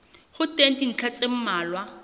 ho teng dintlha tse mmalwa